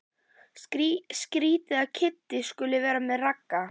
Skrýtið að Kiddi skuli vera með Ragga.